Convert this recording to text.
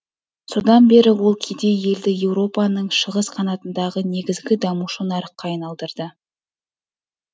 содан бері ол кедей елді еуропаның шығыс қанатындағы негізгі дамушы нарыққа айналдырды